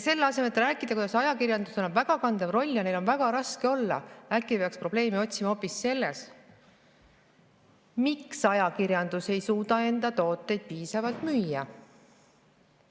Selle asemel et rääkida, kuidas ajakirjandusel on kandev roll ja neil on väga raske, peaks probleemi otsima äkki hoopis selles, miks ajakirjandus ei suuda enda tooteid piisavalt müüa.